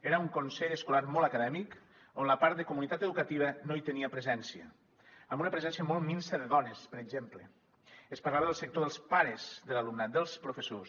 era un consell escolar molt acadèmic on la part de comunitat educativa no hi tenia presència amb una presència molt minsa de dones per exemple es parlava del sector dels pares de l’alumnat dels professors